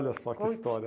Olha só que história.